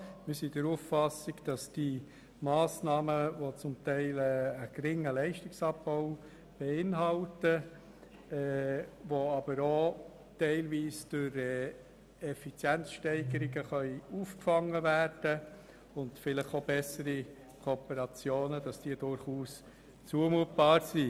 Wir sind der Auffassung, dass die Massnahmen, die zum Teil einen geringen Leistungsabbau beinhalten, aber auch teilweise durch Effizienzsteigerungen und vielleicht durch bessere Kooperationen aufgefangen werden können, durchaus zumutbar sind.